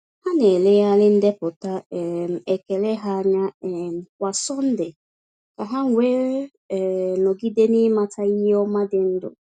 Ha na-elegharị ndepụta um ekele ha anya um kwa Sọnde ka ha wee um nọgide n’ịmata ihe ọma dị ndụ.